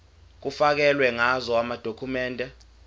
kufakelwe ngazo amadokhumende